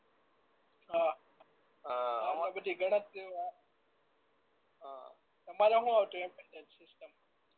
અ બધી ગણતરી ઓ અ તમારે શું હતું સિસ્ટમ